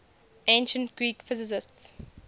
ancient greek physicists